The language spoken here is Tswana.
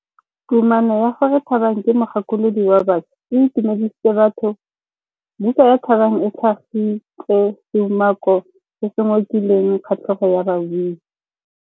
Kumakô ya gore Thabang ke mogakolodi wa baša e itumedisitse batho. Buka ya Thabang e tlhagitse seumakô se se ngokileng kgatlhegô ya babuisi.